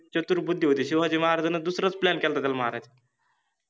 चतुर्बुद्धि होति, शिवाजि महाराजान दुसरच Plan केलता त्याला मारायचा.